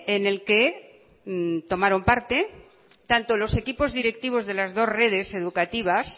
en el que tomaron parte tanto los equipos directivos de las dos redes educativas